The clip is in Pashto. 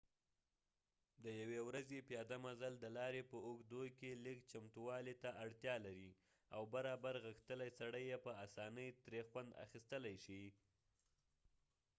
د یو ی ورځی پیاده مزل د لارې په اوږدکې لږ چمتووالی ته اړتیا لري او برابر غښتلی سړی یې په اسانۍ تری خوند اخستلی شي